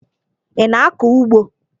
Ị na-akọ ugbo?